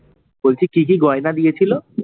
বলছি কি কি গয়না দিয়েছিলো?